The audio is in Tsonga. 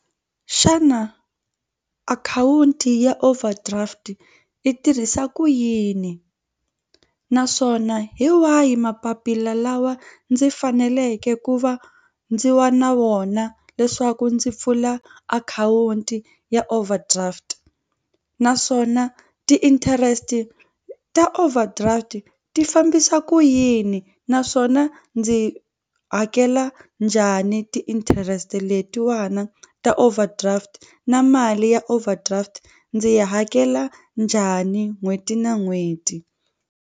Xana akhawunti ya overdraft yi tirhisa ku yini naswona hi wahi mapapila lawa ndzi faneleke ku va ndzi wa na vona leswaku ndzi pfula akhawunti ya overdraft naswona ti-interest ta overdraft ti fambisa ku yini naswona ndzi hakela njhani ti-interest letiwana ta overdraft na mali ya overdraft ndzi yi hakela njhani n'hweti na n'hweti.